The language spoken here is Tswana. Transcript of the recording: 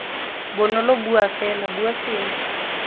bonolo bua fela bua sengwe